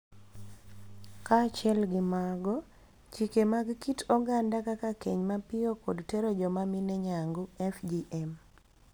Kaachiel gi mago, chike mag kit oganda kaka keny mapiyo kod tero joma mine nyangu (FGM)